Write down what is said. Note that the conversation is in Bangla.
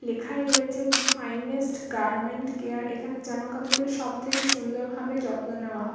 লেখায় রয়েছে যে ফাইনেস্ট গার্মেন্টস কেয়ার । এখানে জামাকাপড়ের সবথেকে সুন্দর ভাবে যত্ন নেওয়া হ--